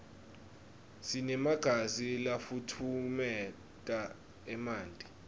sinemagiza lafutfumeta emanti